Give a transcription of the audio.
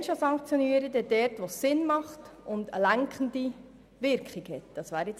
Wenn man sanktionieren will, dann dort, wo es Sinn macht und eine lenkende Wirkung hat.